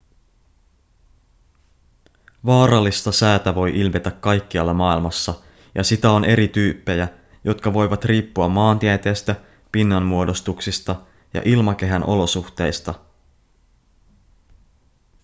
vaarallista säätä voi ilmetä kaikkialla maailmassa ja sitä on eri tyyppejä jotka voivat riippua maantieteestä pinnanmuodostuksista ja ilmakehän olosuhteista